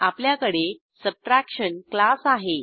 आपल्याकडे subtraction class आहे